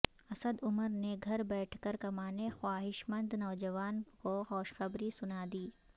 اسد عمر نے گھر بیٹھ کر کمانے کے خواہشمند نوجوانوں کو خوشخبری سنا دی